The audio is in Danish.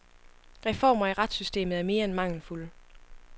Reformer i retssystemet er mere end mangelfulde.